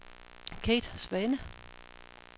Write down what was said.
Kate Svane